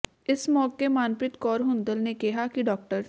ਇਸ ਮੌਕੇ ਮਨਪ੍ਰੀਤ ਕੌਰ ਹੁੰਦਲ ਨੇ ਕਿਹਾ ਕਿ ਡਾ